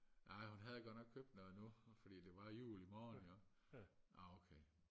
nej hun havde godt nok købt noget nu fordi det var jul imorgen jo nåh okay